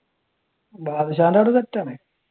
ബാദുഷാന്റെ അവിടെ set ആണ്